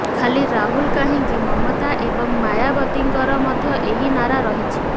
ଖାଲି ରାହୁଲ କାହିଁକି ମମତା ଏବଂ ମାୟାବତୀଙ୍କର ମଧ୍ୟ ଏହି ନାରା ରହିଛି